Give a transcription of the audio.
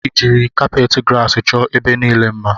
I jiri kapet grasi chọọ ebe niile mma?